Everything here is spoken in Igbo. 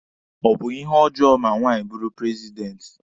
Ọ bụ ihe ọjọọ ma nwaanyị bụrụ prezidenti?